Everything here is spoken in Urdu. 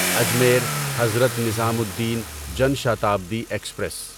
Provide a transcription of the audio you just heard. Ajmer Hazrat Nizamuddin Jan Shatabdi express